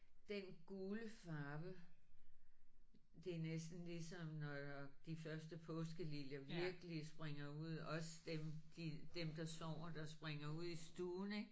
Den gule farve det er næsten ligesom når de første påskeliljer virkelig springer ud også dem de dem der sover der springer ud i stuen ik